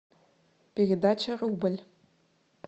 передача рубль